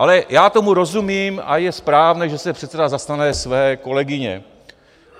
Ale já tomu rozumím a je správné, že se předseda zastane své kolegyně.